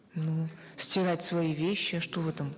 ну стирать свои вещи что в этом